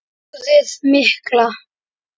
Flóðið mikla